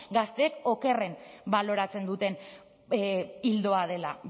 gazteek okerren baloratzen duten ildoa dela